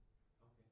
Okay